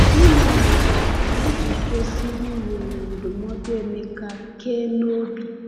Gịnị mere anyị ji kwesịrị were ndụmọdụ Emeka kee n’obi?